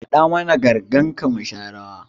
Kaɗa mana ga gangarka mu sha rawa!